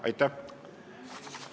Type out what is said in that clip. Aitäh!